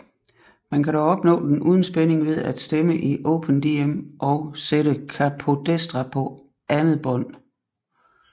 Men man kan dog opnå den uden spænding ved at stemme i Open Dm og sætte capodestra på andet bånd